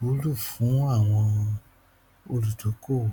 wúlò fún àwọn olùdókòwò